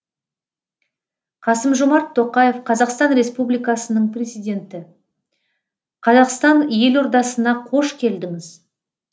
қасым жомарт тоқаев қазақстан республикасының президенті қазақстан елордасына қош келдіңіз